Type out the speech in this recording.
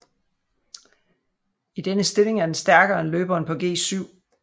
I denne stilling er den stærkere end løberen på g7